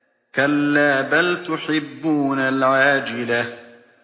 كَلَّا بَلْ تُحِبُّونَ الْعَاجِلَةَ